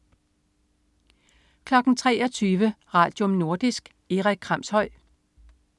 23.00 Radium. Nordisk. Erik Kramshøj